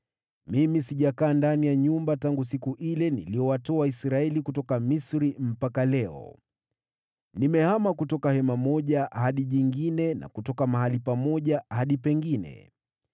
Mimi sijakaa ndani ya nyumba tangu siku ile niliyowatoa Israeli kutoka Misri mpaka leo. Nimehama kutoka hema moja hadi jingine na kutoka mahali pamoja hadi pengine.